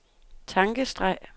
tankestreg